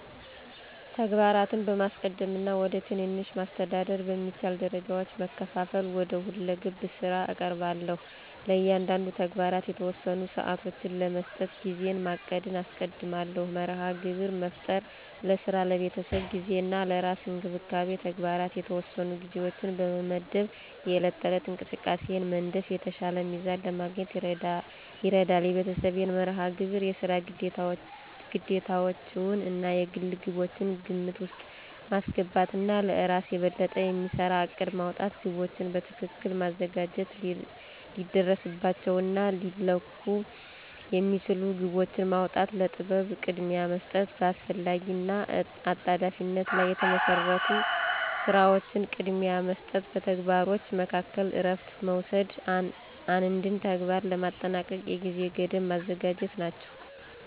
ተግባራትን በማስቀደም እና ወደ ትናንሽ፣ ማስተዳደር በሚቻል ደረጃዎች በመከፋፈል ወደ ሁለገብ ስራ እቀርባለሁ። ለእያንዳንዱ ተግባር የተወሰኑ ሰዓቶችን ለመስጠት ጊዜን ማቀድን አስቀድማለሁ። መርሃ ግብር መፍጠር፣ ለስራ፣ ለቤተሰብ ጊዜ እና ለራስ እንክብካቤ ተግባራት የተወሰኑ ጊዜዎችን በመመድብ የዕለት ተዕለት እንቅስቃሴን መንደፍ የተሻለ ሚዛን ለማግኘት ይረዳል። የቤተሰብን መርሃ ግብር፣ የስራ ግዴታዎችዎን እና የግል ግቦችን ግምት ውስጥ ማስገባት እና ለእራስ የበለጠ የሚሰራ እቅድ ማውጣት። ግቦችን በትክክል ማዘጋጀት፣ ሊደረስባቸው እና ሊለኩ የሚችሉ ግቦችን ማውጣ፣ ለጥበብ ቅድሚያ መስጠት፣ በአስፈላጊ እና አጣዳፊነት ላይ የተመሰረቱ ስራዎችን ቅድሚያ መስጠት፣ በተግባሮች መካከል እረፍት መውሰድ፣ አንድን ተግባር ለማጠናቀቅ የጊዜ ገደብ ማዘጋጀት ናቸው።